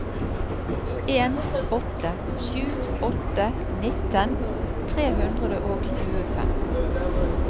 en åtte sju åtte nitten tre hundre og tjuefem